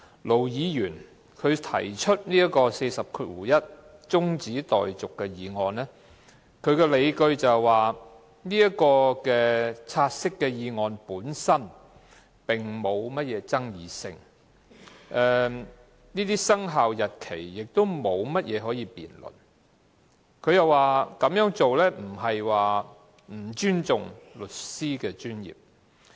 盧議員根據第401條提出中止待續議案的理據是，"察悉議案"沒有爭議性，生效日期也沒有可辯論的地方，他更說這樣做並非不尊重律師專業。